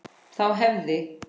Þá hefði